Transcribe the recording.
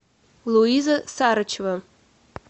луиза сарычева